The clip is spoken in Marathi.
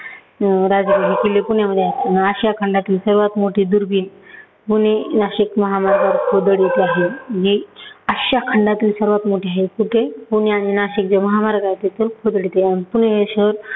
राजग़ड हे किल्ले पुण्यामध्ये आहेत. आशिया खमडातील सर्वात मोठी दुर्बीण पुणे-नाशिक महामार्गावर खोदड इथे आहे. जे आशिया खंडातील सर्वात मोठं हे कुठे पुणे आणि नाशिक जे महामार्ग आहे तिथून खोदड इथे आहे. पुणे हे शहर